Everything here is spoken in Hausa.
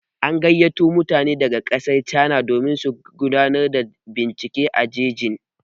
An gayyato mutane daga ƙasar cana domin su gudanar da bincike a jejin.